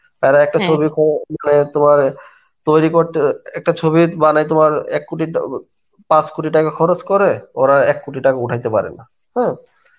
আর একটা ছবি তোমার তৈরী করতে একটা ছবি মানে তোমার এক কোটি তাও বা পাঁচ কোটি টাকা খরচ করে ওরা এককোটি টাকা ওঠাইতে পারেনা হ্যাঁ.